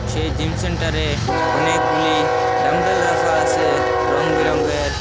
সেই জিমসেন্টারে অনেকগুলি ডাম্বেল রাখা আসে রং বেরঙের।